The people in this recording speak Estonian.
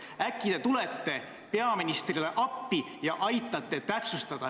Äkki te tulete peaministrile appi ja aitate täpsustada?